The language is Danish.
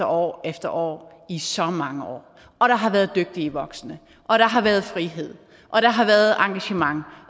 år efter år i så mange år og der har været dygtige voksne og der har været frihed og der har været engagement